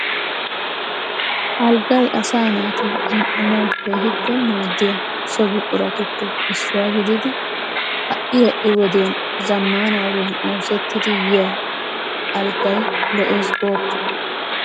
Alggay asaa naati zin"anawu keehi maaddiya so buquratuppe issuwa gididi ha"i ha"i wodiyan zammaana ogiyan oosettidi yiya aggay lo'eesi gooppa!